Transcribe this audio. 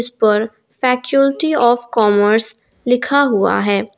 का factuality of commerce लिखा हुआ है।